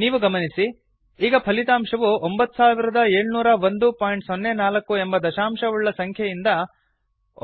ನೀವು ಗಮನಿಸಿ ಈಗ ಫಲಿತಾಂಶವು 970104 ಎಂಬ ದಶಾಂಶವುಳ್ಳ ಸಂಖ್ಯೆಯಿದ